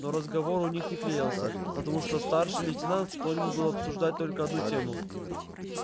но разговор у них не клеился потому что старший лейтенант склонен был обсуждать только одну тему